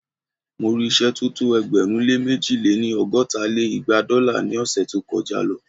Mo rí ìṣẹ́ tó tó ẹgbẹ̀rún lé mẹ̀ji lé-ní- ọgọ́ta lé igba dọ́là ní ọ̀ṣẹ̀ tó kọ já